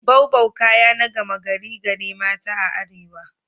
Boubou kaya na gama gari ga ne mata a arewa.